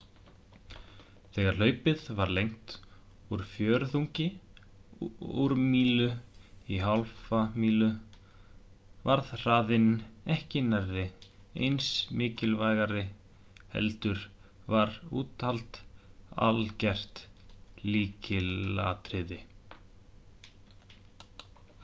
þegar hlaupið var lengt úr fjórðungi úr mílu í hálfa mílu varð hraðinn ekki nærri eins mikilivægari heldur var úthald algert lykilatriði